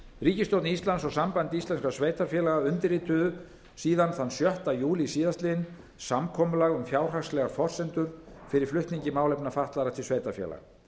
ríkisstjórn íslands og samband íslenskra sveitarfélaga undirrituðu síðan þann sjötta júlí síðastliðinn samkomulag um fjárhagslegar forsendur fyrir flutningi málefna fatlaðra til sveitarfélaga